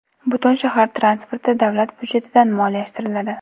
Butun shahar transporti davlat budjetidan moliyalashtiriladi.